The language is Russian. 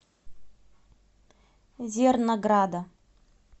зернограда